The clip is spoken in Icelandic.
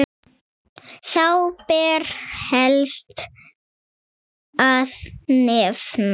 Þá ber helst að nefna